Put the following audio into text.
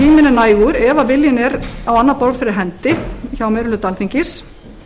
nægur ef viljinn er á annað borð fyrir hendi hjá meiri hluta alþingis